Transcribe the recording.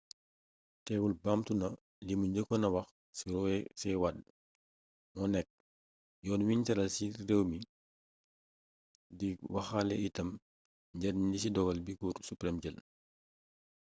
teewul baamtu na limu njëkkoon a wax ni roe c. wade moo nekk «yoon wiñ tëral ci réew mi» di waxaale itam njariñ li ci dogal bi cour supreme jël